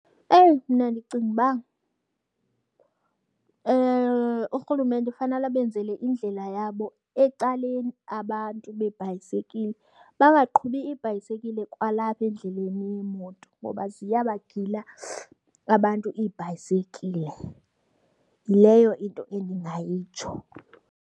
Eyi, mna ndicinga uba uRhulumente fanele abenzele indlela yabo ecaleni abantu beebhayisikile. Bangaqhubi ibhayisekile kwalapha endleleni yeemoto ngoba ziyabagila abantu iibhayisekile. Yileyo into endingayitsho.